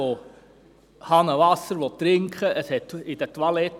Wer Hahnenwasser trinken will, kann dies überall tun.